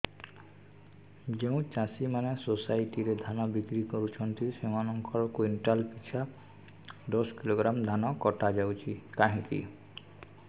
ଯେଉଁ ଚାଷୀ ମାନେ ସୋସାଇଟି ରେ ଧାନ ବିକ୍ରି କରୁଛନ୍ତି ସେମାନଙ୍କର କୁଇଣ୍ଟାଲ ପିଛା ଦଶ କିଲୋଗ୍ରାମ ଧାନ କଟା ଯାଉଛି କାହିଁକି